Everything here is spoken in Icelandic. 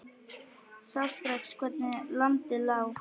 Sá strax hvernig landið lá.